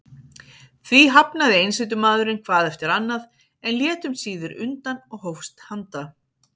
Því hafnaði einsetumaðurinn hvað eftir annað, en lét um síðir undan og hófst handa.